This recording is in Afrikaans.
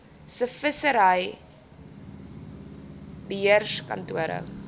se vissery beheerkantore